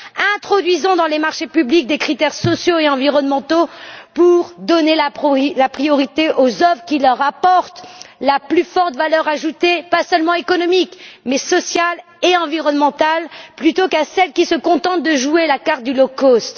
Introduisons dans les marchés publics des critères sociaux et environnementaux pour donner la priorité aux œuvres qui leur apportent la plus forte valeur ajoutée, pas seulement économique, mais sociale et environnementale, plutôt qu'à celles qui se contentent de jouer la carte du low cost